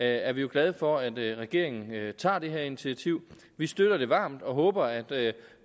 er vi jo glade for at regeringen tager det her initiativ vi støtter det varmt og håber at